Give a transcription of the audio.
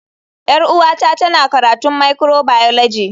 Yar uwata tana karatun microbiology.